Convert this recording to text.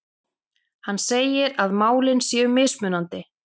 Hann segir að málin séu mismunandi